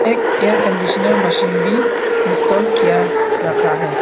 एक air conditioner machine बी install किया रखा है।